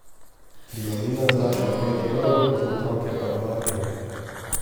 Prijavnina znaša pet evrov, za otroke pa dva evra.